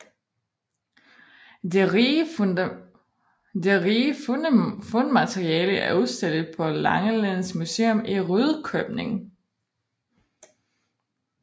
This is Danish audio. Det rige fundmateriale er udstillet på Langelands Museum i Rudkøbing